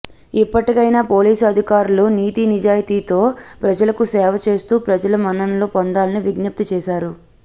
ఇప్పటికైనా పోలీసు అధికారులు నీతి నిజాయితీతో ప్రజలకు సేవ చేస్తూ ప్రజల మన్ననలు పొందాలని విజ్ఞప్తి చేశారు